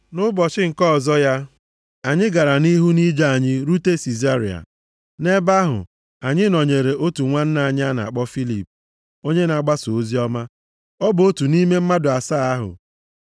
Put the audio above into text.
Nʼụbọchị nke ọzọ ya, anyị gara nʼihu nʼije anyị rute Sizaria. Nʼebe ahụ, anyị nọnyeere otu nwanna anyị a na-akpọ Filip onye na-agbasa oziọma. Ọ bụ otu nʼime mmadụ asaa ahụ.